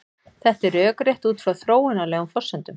Þetta er rökrétt út frá þróunarlegum forsendum.